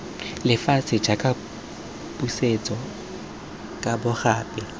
lefatshe jaaka pusetso kabo gape